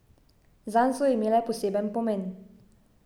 Zanj so imele poseben pomen.